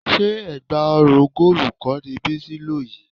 Ṣé ẹ̀gbá ọrùn góòlù kọ́ ni Bísí lò yìí?